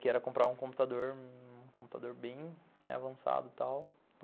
Que era comprar um computador, um computador bem avançado e tal.